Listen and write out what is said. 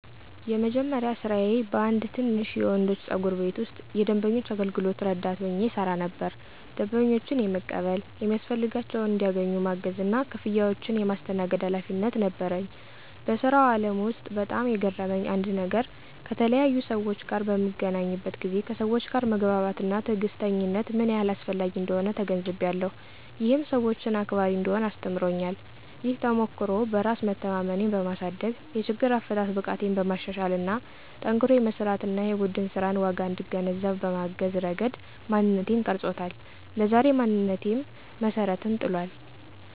የመጀመሪያ ስራዬ በአንድ ትንሽ የወንዶች ጸጉር ቤት ውስጥ የደንበኞች አገልግሎት ረዳት ሆኜ እሰራ ነበር። ደንበኞችን የመቀበል፣ የሚያስፈልጋቸውን እንዲያገኙ ማገዝ እና ክፍያዎችን የማስተናግድ ኃላፊነት ነበረኝ። በስራው አለም ውስጥ በጣም የገረመኝ አንድ ነገር ከተለያዩ ሰዎች ጋር በምገናኝበት ጊዜ ከሰወች ጋር መግባባት እና ትዕግስተኝነት ምን ያህል አስፈላጊ እንደሆነ ተገንዝቤያለሁ። ይህም ሰወችን አክባሪ እንድሆን አስተምሮኛል። ይህ ተሞክሮ በራስ መተማመኔን በማሳደግ፣ የችግር አፈታት ብቃቴን በማሻሻል እና ጠንክሮ የመስራት እና የቡድን ስራንን ዋጋ እንድገነዘብ በማገዝ ረገድ ማንነቴን ቀርጾታል። ለዛሬ ማንነቴም መሰረትን ጥሏል።